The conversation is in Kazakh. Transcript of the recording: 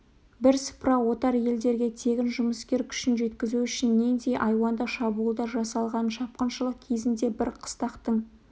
бірсыпыра отар елдерге тегін жұмыскер күшін жеткізу үшін нендей айуандық шабуылдар жасалғанын шапқыншылық кезінде бір қыстақтың